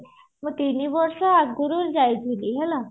ମୁଁ ତିନିବର୍ଷ ଆଗରୁ ଯାଇଥିଲି ହେଲା